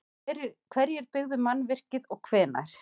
Hverjir byggðu mannvirkið og hvenær?